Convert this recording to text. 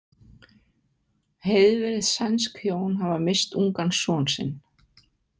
Heiðvirð sænsk hjón hafa misst ungan son sinn.